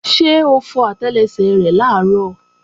Ṣé o fọ àtẹlẹsẹ̀ rẹ làárọ̀?